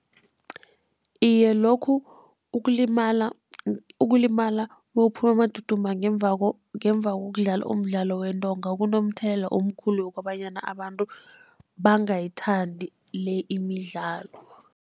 Iye, lokhu ukulimala, ukulimala nawuphuma amaduma ngemva ngemva kokudlala umdlalo wentonga, kunomthelela omkhulu wokobanyana abantu bangayithandi le imidlalo.